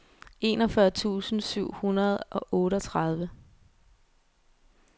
enogfyrre tusind syv hundrede og otteogtredive